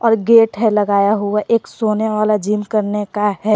और गेट है लगाया हुआ एक सोने वाला जिम करने का है।